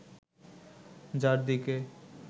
যার দিকে